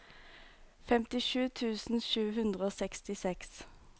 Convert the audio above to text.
femtisju tusen sju hundre og sekstiseks